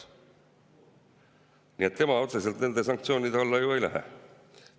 Nii et tema otseselt nende sanktsioonide alla ju ei lähe.